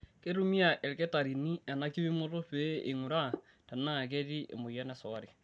Keitumia ilkitarrini ena kipimoto pee einguraa tenaa ketii emoyian esukari.